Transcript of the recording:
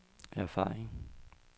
erfaring